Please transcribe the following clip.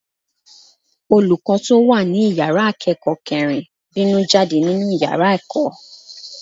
Olùkọ́ tó wà ní ìyára akẹ́kọ̀ọ́ kẹrin bínú jáde nínú yára ẹ̀kọ́.